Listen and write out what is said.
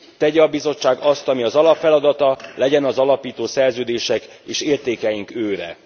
Tegye a Bizottság azt, ami az alapfeladata, legyen az alapító szerződések és értékeink őre.